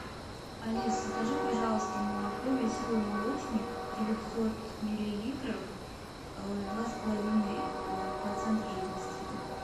алис закажи пожалуйста молоко веселый молочник девятьсот миллилитров два с половиной процента жирности